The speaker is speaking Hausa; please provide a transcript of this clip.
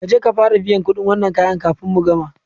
Kaje ka fara biyan kuɗin wannan kayan kafin mu gama